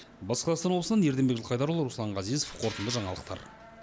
батыс қазақстан облысынан ерденбек жылқайдарұлы руслан ғазезов қорытынды жаңалықтар